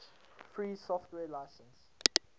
free software license